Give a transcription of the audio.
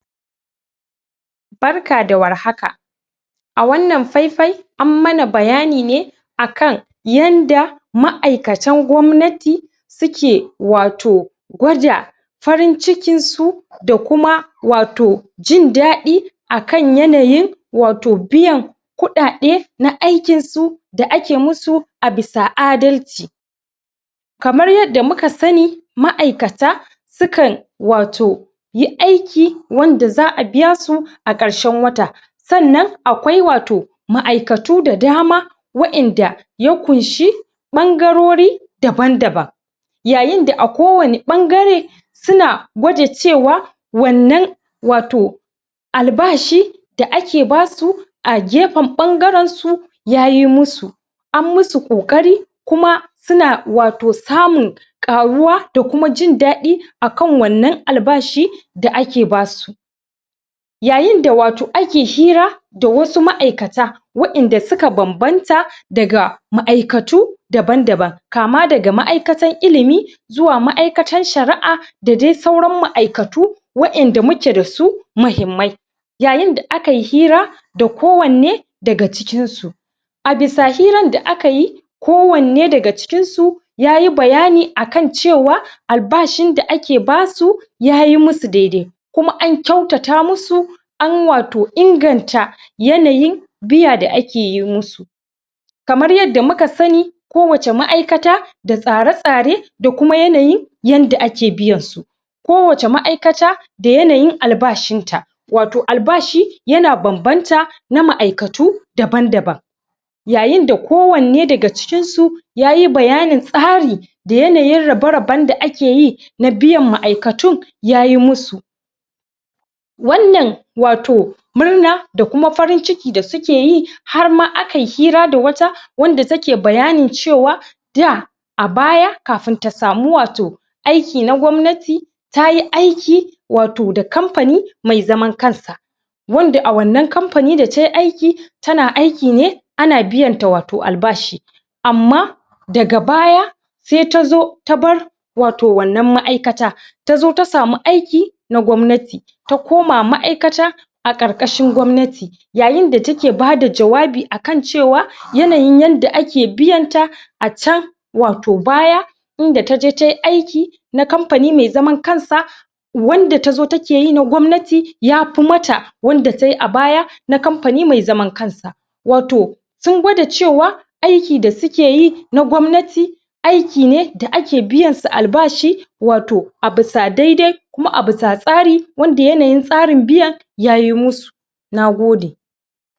Barka da warhaka! a wannan faifai an mana bayani ne akan yanda ma'aikatan gwamnati suke wato gwaja farin cikin su da kuma wato jin ɗadi akan yanayin wato biyan kuɗaɗe na aikinsu da ake musu a bisa adalci kamar yanda muka sanni ma'aikata sukan wato yi aiki wanda za'a biya su a ƙarshen wata sannan akwai wato ma'aikatu da dama wa'inda ya kunshi ɓangarori daban-daban yayin da a ko wane ɓangare suna gwaja cewa wannan wato albashi da ake basu a gefen ɓangaren su yayi musu ammusu ƙoƙari kuma suna wato samun ƙaruwa da kuma jin daɗi akan wannan albashi da ake basu yayin da wato ake hira da wasu ma'aikata wa'inda suka banbanta daga ma'aikatu daban-daban kama daga ma'aiakatan ilimi zuwa ma'aikatan shara'a da dai sauran ma'aikatu wa ƴanda muke dasu mahimmai yayin da akai hira da ko wanne daga cikin su a bisa hiran da akayi ko wanne daga cikin su yayi bayani akan cewa albashin da ake basu yayi musu daidai kuma an kyautata musu an wato inganta yayin biya da ake yi musu kamar yanda muka sanni ko wace ma'aikata da tsara-tsare da kuma yanayin yanda ake biyan su ko wace ma'aikata da yanayin albashin ta wato albashi yana banbanta na ma'aikatu daban-daban yayin da ko wanne daga cikin su yayi bayanin tsari da yanayin rabe-raben da akeyi na biyan ma'aikatun yayi musu wannan wato murna da kuma farin ciki da suke yi harma akai hira da wata wanda take bayani cewa da a baya kafun ta samu wato aiki na gwamnati tayi aiki wato da kamfani mai zaman kansa wanda a wannan kamfani datai aiki tana aiki ne ana biyanta wato albashi amma daga baya sai tazo ta bar wato wannan ma'aikata tazo ta samu aiki na gwamnati ta koma ma'aikata a ƙarƙashin gwamnati yayin da take bada jawabi akan cewa yanayin yanda ake biyanta a can wato baya inda taje tai aiki na kamfani mai zaman kansa wanda tazo take yin na gwamnati yafu mata wanda tai a baya na kamfani mai zaman kansa wato sun gwada cewa aiki da sukeyi na gwamnati aiki ne da ake biyan su albashi wato a busa daidai kuma a busa tsari wanda yanayin tsarin biyan yayi musu Nagode!